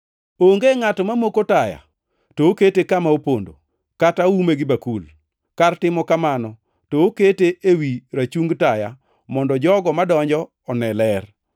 “Onge ngʼato mamoko taya to okete kama opondo, kata oume gi bakul. Kar timo kamano to okete ewi rachungi taya mondo jogo madonjo one ler.